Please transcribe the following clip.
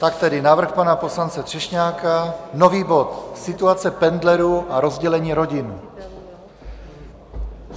Tak tedy návrh pana poslance Třešňáka, nový bod - situace pendlerů a rozdělení rodin.